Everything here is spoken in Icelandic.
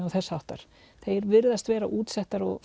og þess háttar þeir virðast vera útsettari og